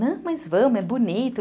Não, mas vamos, é bonito.